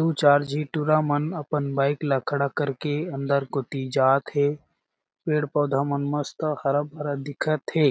दू चार झी टुरा मन अपन बाइक ल खड़ा कर के अंदर कुती जात हे पेड़-पौधा मन मस्त हरा-भरा दिखत हे।